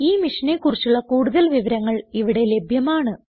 ഈ മിഷനെ കുറിച്ചുള്ള കുടുതൽ വിവരങ്ങൾ ഇവിടെ ലഭ്യമാണ്